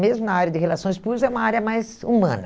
Mesmo na área de relações públicas, é uma área mais humana.